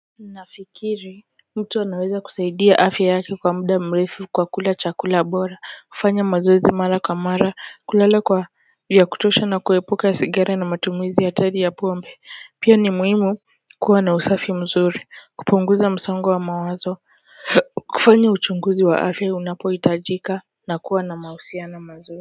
Nafikiri mtu anaweza kusaidia afya yake kwa muda mrefu kwa kula chakula bora kufanya mazoezi mara kwa mara kulala kwa vya kutosha na kuepuka sigara na matumizi hatari ya pombe pia ni muhimu kuwa na usafi mzuri kupunguza msongo wa mawazo kufanya uchunguzi wa afya unapo hitajika na kuwa na mahusiano mazuri.